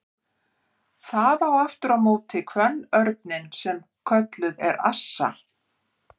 Það á aftur á móti kvenörninn sem kölluð er assa.